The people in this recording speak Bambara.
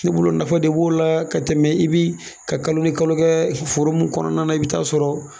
Ne bolo nafa de b'o la ka tɛmɛ i bi ka kalo ni kalo kɛ foro mun kɔnɔna na i bɛ taa sɔrɔ